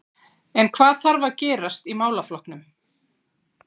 En hvað þarf að gerast í málaflokknum?